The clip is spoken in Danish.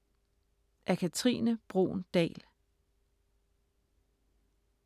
Af Katrine Bruun Dahl